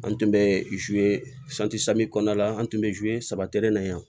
An tun bɛ kɔnɔna la an tun bɛ saba na yan